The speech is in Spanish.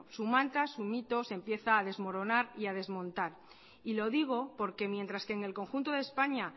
su manta su mito se empieza a desmoronar y a desmontar y lo digo porque mientras que en el conjunto de españa